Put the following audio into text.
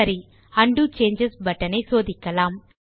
சரி undo changes button ஐ சோதிக்கலாம்